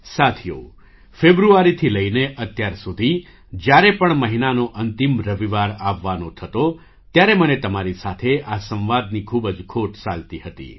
સાથીઓ ફેબ્રુઆરીથી લઈને અત્યાર સુધી જ્યારે પણ મહિનાનો અંતિમ રવિવાર આવવાનો થતો ત્યારે મને તમારી સાથે આ સંવાદની ખૂબ જ ખોટ સાલતી હતી